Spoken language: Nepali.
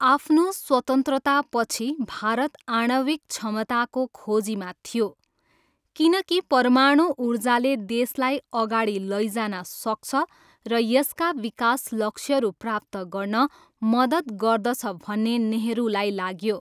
आफ्नो स्वतन्त्रतापछि, भारत आणविक क्षमताको खोजीमा थियो, किनकि परमाणु ऊर्जाले देशलाई अगाडि लैजान सक्छ र यसका विकास लक्ष्यहरू प्राप्त गर्न मद्दत गर्दछ भन्ने नेहरूलाई लाग्यो।